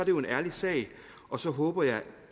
jo en ærlig sag og så håber jeg